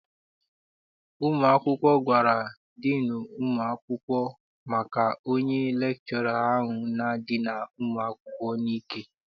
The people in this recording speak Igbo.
Ụmụ akwụkwọ gwara diinu ụmụ akwụkwọ maka onye lekchọra ahụ na-edina ụmụ akwụkwọ n'ike.